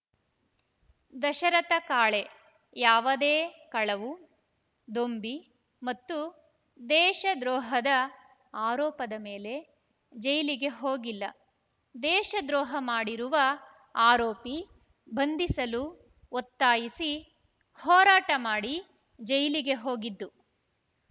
ದಶರಥ ಕಾಳೆ ಯಾವದೇ ಕಳವು ದೊಂಬಿ ಮತ್ತು ದೇಶ ದ್ರೋಹದ ಆರೋಪದ ಮೇಲೆ ಜೈಲಿಗೆ ಹೋಗಿಲ್ಲ ದೇಶ ದ್ರೋಹ ಮಾಡಿರುವ ಆರೋಪಿ ಬಂಧಿಸಲು ಒತ್ತಾಯಿಸಿ ಹೋರಾಟ ಮಾಡಿ ಜೈಲಿಗೆ ಹೋಗಿದ್ದು